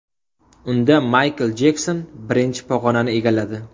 Unda Maykl Jekson birinchi pog‘onani egalladi.